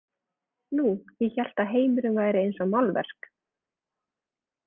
Nú, ég hélt að heimurinn væri eins og málverk.